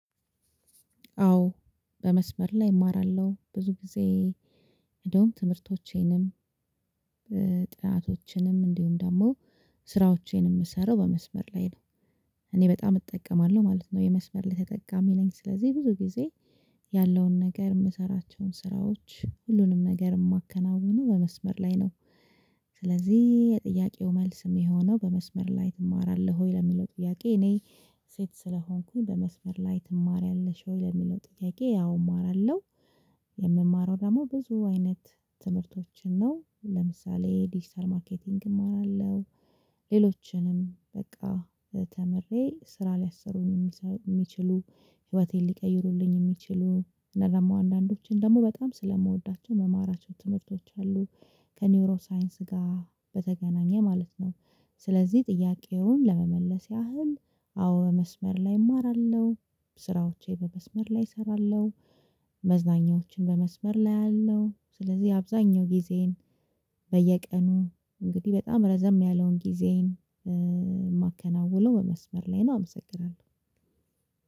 አዎ በመስመር ላይ እማራለሁ ብዙ ጊዜ። እንደውም ትምህርቶቼንም ጥናቶችንም እንዲሁም ደግሞ ስራዎቼን የምሰራው በመስመር ላይ ነው። እኔ በጣም እጠቀማለሁ ማለት ነው የመስመር ላይ ተጠቃሚ ነኝ። ስለዚህ ብዙ ጊዜ ያለውን ነገር የምሰራቸውን ስራዎች ሁሉንም ነገር የማከናውነው በመስመር ላይ ነው። ስለዚህ የጥያቄው መልስ የሚሆነው በመስመር ላይ ትማራለህ ወይ ለሚለው ጥያቄ? እኔ ሴት ስለሆንኩኝ በመስመር ላይ ትማሪያለሽ ወይ ለሚለው ጥያቄ? ያው እማራለሁ። የምማረው ደግሞ ብዙ አይነት ትምህርቶችን ነው። ለምሳሌ ዲጂታል ማርኬቲንግ እማራለሁ። ሌሎችንም በቃ ተምሬ ስራ ሊያሰሩኝ የሚችሉ ህይወቴን ሊቀይሩልኝ የሚችሉ እና ደሞ አንዳንዶችን ደግሞ በጣም ስለምወዳቸው ምማራቸው ትምህርቶች አሉ። ከኒውሮ ሳይንስ ጋር በተገናኘ ማለት ነው። ስለዚህ ጥያቄውን ለመመለስ ያህል አዎ መስመር ላይ እማራለሁ። ስራዎቼ በመስመር ላይ እሰራለሁ። መዝናኛዎችን በመስመር ላይ አያለው ስለዚህ አብዛኛው ጊዜዬን በየቀኑ እንግዲህ በጣም ረዘም ያለውን ጊዜን የማከናውነው በመስመር ላይ ነው። አመሰግናለሁ።